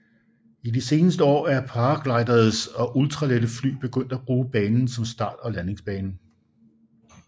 I de seneste år er paragliders og ultralette fly begyndt at bruge banen som start og landingsbane